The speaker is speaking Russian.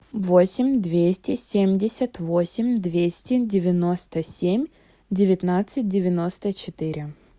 восемь двести семьдесят восемь двести девяносто семь девятнадцать девяносто четыре